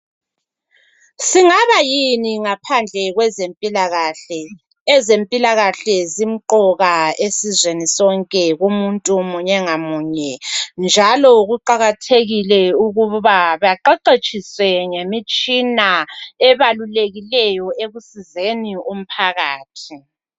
singabayini ngaphandle kwempilakahle ezempilakahle zimqoka esizweni snke kumuntu munye ngamunye njalo kuqakathekile ukuba baqeqetshise ngemitshina balulekileyo ekusizeni umphakathi